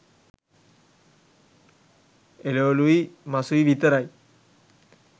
එලෝළුයි මසුයි විතරයි!